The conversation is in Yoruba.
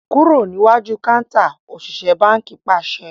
Kúrò níwájú kántà! Òṣìṣẹ́ báńkì pàṣẹ.